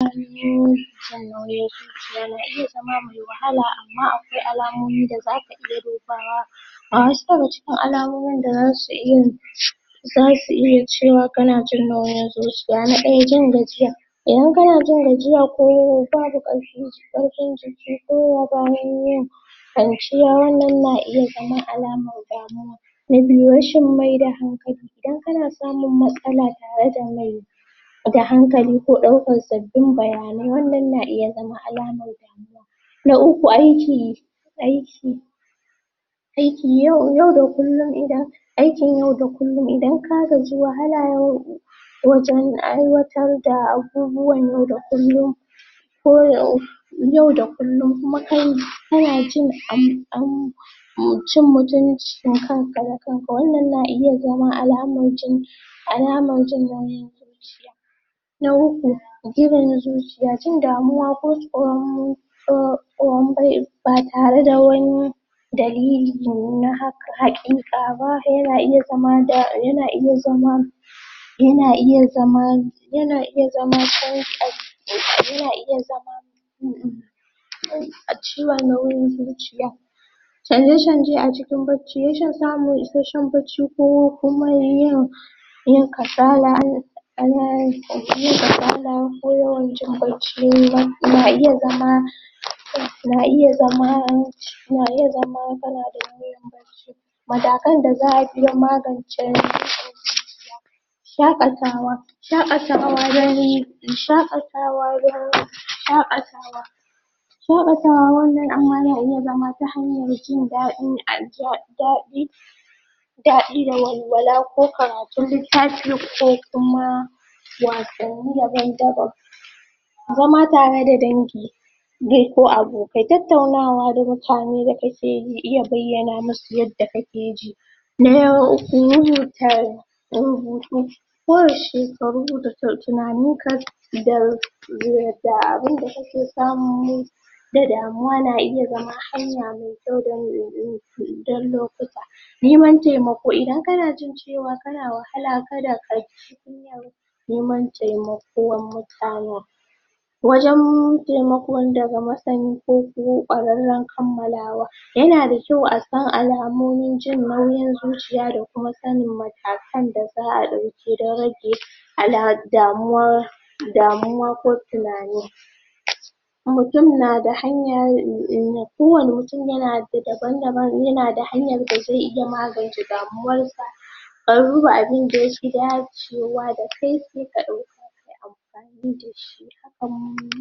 iya zama mai wahala amma akwai alamomi da zaka iya dubawa ga wasu daga cikin almomin da zasu iya zasu iya cewa kana jin nauyin zuciya, na ɗaya jin gajiya, idan kana jin gajiya ko babu ƙarfi, karfin jiki koda bayan kwanciya wannan na iya zama alamar damuwa na biyu rashin mai da hankali, idan kana samun matsala tare da mai da hankali ko ɗaukar sabbin bayanai wannan na iya zama alamar damuwa. Na uku aiki aik, aiki, yau da kullun idan aikin yau da kullun idan ka gaji wahala yau wajan aikwatar da abubuwa yau da kullum ko yau yau da kulluim kuma kai kana jin um [um mutuncin kanka da kanka wannan wannan na iya zama alamar, alamar jin nauyin zuciya na uku, jirin zuciya, jin damuwa ko tsaron tsoro tsoron bai ba tare da wani dalili da haka haƙiƙa ba yana iya zama da, yana iya zama yana iya zama, yana iya zama sarƙarƙi, yana iya zama um a ciwon nauyin zuciya canje canje a cikin barci, rashin samun isashshen barci ko kuma yin yin kasala um yin kasala ko yawan jin barci, nan na iya zama, na iya zama, na iya zama kana da nauyin barci. Matakan da za'a iya maganace ciwon zuciya shaƙatawa, shaƙatawa don, shaƙatawa don, shaƙatawa shaƙatawa wannan amma na iya zama ta hanyar jin daɗi aji daɗi[um] daɗi da walwala ko karatun littafi ko kuma wasanni daban daban. Zama tare da danji dai ko abokai, tattaunawa da mutane da kake ji iya bayyanawa musu yadda kake ji, Na hutar rubutu ko yaushe ka rur rubuta tunanin ka, idan, da abunda kake samu da damuwa na iya zama hanya mai kyau dan um dan lokuta. Neman taimako, idan kana jin cewa kana wahala kada kaji kunyar neman taimako mutanan, wajan taimakon daga masani ko kuma kwararran kamalawa, yana da kyau asan alamomin jin nauyi zuciya da kuma sanin matakan da za'a ɗauke idan rage alka damuwa damuwa ko tunani mutum na da hanya um kowanne mutum na daban daban yana da hanyar da zai iya magance damuwar sa, a duba abinda yafi dacewa dakai sai ka ɗauka kayi amfani dashi hakan